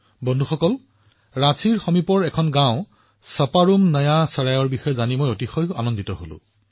বন্ধুসকল ৰাঁচীৰ কাষৰ এখন গাওঁ চেপেৰোম নয়া চৰাইৰ বিষয়ে জানি মই বৰ সুখী হৈছিলোঁ